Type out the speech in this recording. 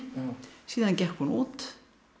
síðan gekk hún út